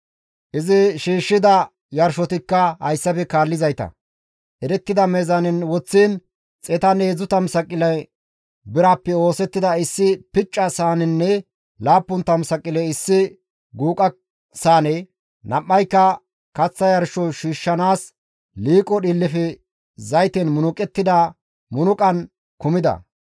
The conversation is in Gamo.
Izi shiishshida yarshotikka hayssafe kaallizayta, erettida meezaanen woththiin 130 saqile birappe oosettida issi picca saanenne 70 saqile issi guuqa saane, nam7ayka kaththa yarsho shiishshanaas liiqo dhiillefe zayten munuqettida munuqan kumida.